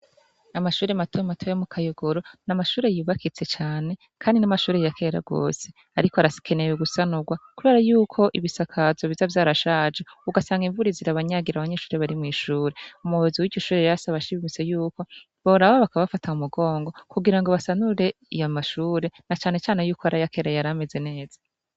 Amashure mato mato yo mu kayogoro n'amashure yubakitse cane kandi n'amashure ya kera gose ariko arakeneye gusanurwa kubera yuko ibisakazo biza vyarashaje ugasanga invura irabanyagira abanyeshure bari mw'ishure, umuyobozi w'ishure yasavye yuko boraba bakabafata mu mugongo kugira ngo basanure ayo mashure na cane cane yuko ar'ayakera yar'ameze neza.